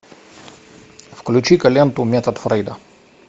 включи ка ленту метод фрейда